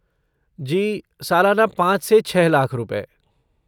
जी, सालाना पाँच से छः लाख रुपए।